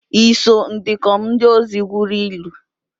Iso ndikom ndi ozo gwuru ili?